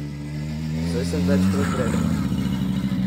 Saj sem večkrat rekel.